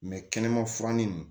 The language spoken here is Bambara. kɛnɛma furannin nunnu